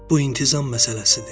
Bu intizam məsələsidir.